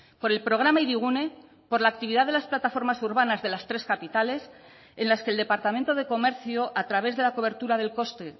por el programa hirigune por la actividad de las plataformas urbanas de las tres capitales en las que el departamento de comercio a través de la cobertura del coste